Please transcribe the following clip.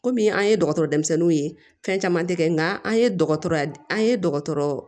Komi an ye dɔgɔtɔrɔ denmisɛnninw ye fɛn caman tɛ kɛ nka an ye dɔgɔtɔrɔya an ye dɔgɔtɔrɔ